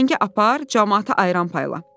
səhəngi apar, camaata ayran payla.